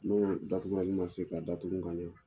N y'o datugu mun ma se ka datugu ka ɲɛ